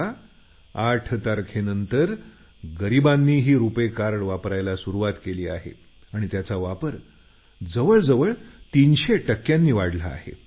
परंतु 8 तारखेनंतर गरिबांनीही रुपे कार्ड वापरायला सुरुवात केली असून त्याचा वापर जवळजवळ 300 टक्क्यांनी वाढला आहे